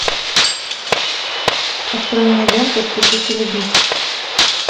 открой мне ленту спешите любить